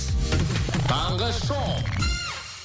таңғы шоу